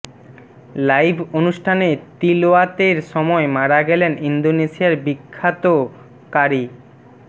live অনুষ্ঠানে তিলাওয়াতের সময় মারা গেলেন ইন্দোনেশিয়ার বিখ্যাত ক্বারী